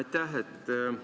Aitäh!